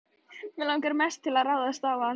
Mig langaði mest til að ráðast á hann.